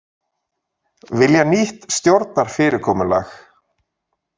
Vilja nýtt stjórnarfyrirkomulag